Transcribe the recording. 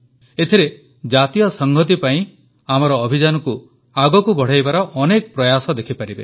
ଏଥିରେ ଜାତୀୟ ସଂହତି ପାଇଁ ଆମର ଅଭିଯାନକୁ ଆଗକୁ ବଢ଼ାଇବାର ଅନେକ ପ୍ରୟାସ ଦେଖିପାରିବେ